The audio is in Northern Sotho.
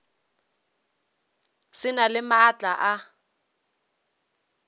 sa na le maatla a